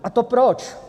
A to proč?